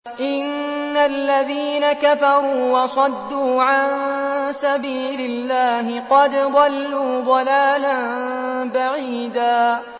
إِنَّ الَّذِينَ كَفَرُوا وَصَدُّوا عَن سَبِيلِ اللَّهِ قَدْ ضَلُّوا ضَلَالًا بَعِيدًا